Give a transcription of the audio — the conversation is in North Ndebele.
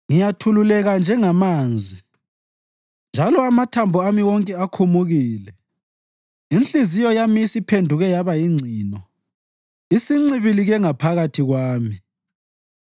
Ngiyathululeka njengamanzi, njalo amathambo ami wonke akhumukile. Inhliziyo yami isiphenduke yaba yingcino; isincibilikile ngaphakathi kwami.